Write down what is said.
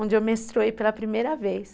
Onde eu menstruei pela primeira vez.